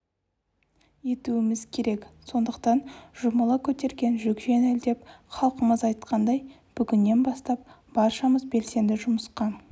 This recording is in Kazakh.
етуіміз керек сондықтан жұмыла көтерген жүк жеңіл деп халқымыз айтқандай бүгіннен бастап баршамыз белсенді жұмысқа